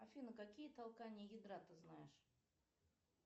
афина какие толкания ядра ты знаешь